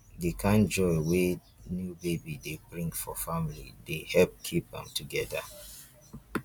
di kind joy wey new baby dey bring for family dey help keep am together.